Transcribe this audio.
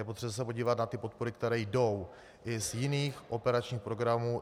Je potřeba se podívat na ty podpory, které jdou i z jiných operačních programů.